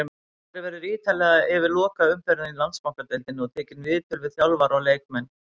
Farið verður ítarlega yfir lokaumferðina í Landsbankadeildinni og tekið viðtöl við þjálfara og leikmenn.